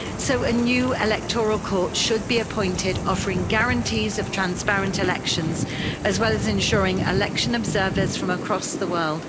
So a new electoral court should be appointed, offering guarantees of transparent elections as well as ensuring election observers from across the world.